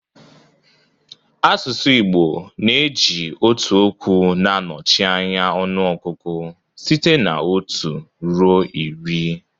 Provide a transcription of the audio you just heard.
Asụsụ Igbo na-eji otu okwu na-anọchi anya ọnụọgụgụ site na otu ruo iri